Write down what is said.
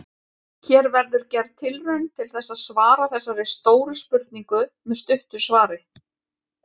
Hér verður gerð tilraun til þess að svara þessari stóru spurningu með stuttu svari.